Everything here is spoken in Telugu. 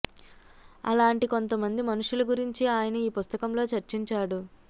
అలాంటి కొంత మంది మనుషుల గురించి ఆయన ఈ పుస్తకంలో చర్చించాడు